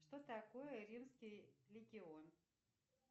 что такое римский легион